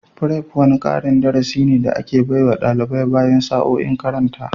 Prep wani karin darasi ne da ake baiwa dalibai bayan sa'o'in makaranta.